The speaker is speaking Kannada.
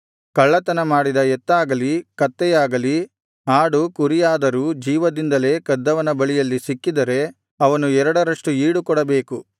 ಕಳ್ಳತನ ಮಾಡಿದ ಎತ್ತಾಗಲಿ ಕತ್ತೆಯಾಗಲಿ ಆಡು ಕುರಿಯಾದರೂ ಜೀವದಿಂದಲೇ ಕದ್ದವನ ಬಳಿಯಲ್ಲಿ ಸಿಕ್ಕಿದರೆ ಅವನು ಎರಡರಷ್ಟು ಈಡು ಕೊಡಬೇಕು